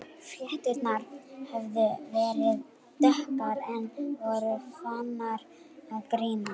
Flétturnar höfðu verið dökkar en voru farnar að grána.